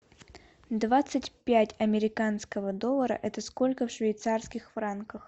двадцать пять американского доллара это сколько в швейцарских франках